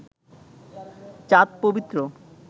চাঁদ পবিত্র